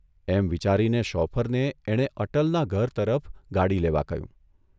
એમ વિચારી શોફરને એણે અટલના ઘર તરફ ગાડી લેવા કહ્યું.